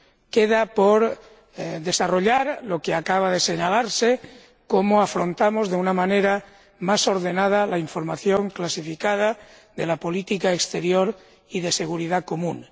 Queda por desarrollar lo que acaba de señalarse cómo afrontamos de una manera más ordenada la información clasificada de la política exterior y de seguridad común